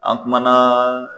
An kumana